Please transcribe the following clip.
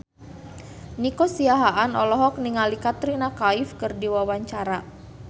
Nico Siahaan olohok ningali Katrina Kaif keur diwawancara